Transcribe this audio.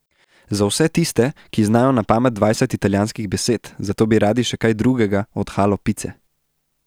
Za vse tiste, ki znajo na pamet dvajset italijanskih besed, zato bi radi še kaj drugega od halo pice.